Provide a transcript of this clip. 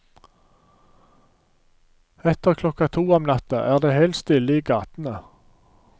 Etter klokka to om natta er det helt stille i gatene.